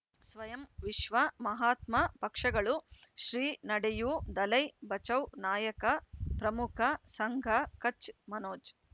ಸ್ವಯಂ ವಿಶ್ವ ಮಹಾತ್ಮ ಪಕ್ಷಗಳು ಶ್ರೀ ನಡೆಯೂ ದಲೈ ಬಚೌ ನಾಯಕ ಪ್ರಮುಖ ಸಂಘ ಕಚ್ ಮನೋಜ್